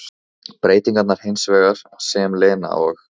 Breytingarnar hins vegar sem Lena og